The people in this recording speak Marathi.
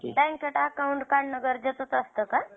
बॅंकेत account काढणं गरजेचंच असतं का?